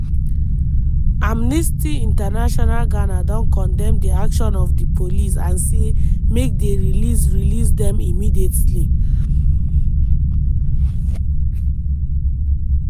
amnesty international ghana don condemn di action of di police and say make dey release release dem immediately.